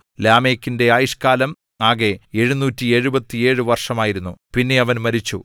ലാമെക്കിന്റെ ആയുഷ്കാലം ആകെ 777 വർഷമായിരുന്നു പിന്നെ അവൻ മരിച്ചു